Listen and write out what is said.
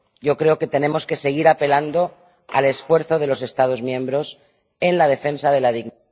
Creo que tenemos que seguir apelando al esfuerzo de los Estados miembros en la defensa de la dignidad...